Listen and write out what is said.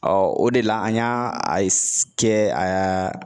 o de la an y'a a kɛ aa